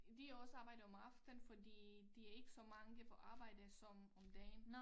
Der også arbejde om aftenen fordi der ikke så mange på arbejde som om dagen